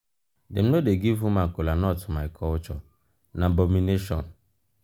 dem no dey give woman kolanut for my culture na abomination.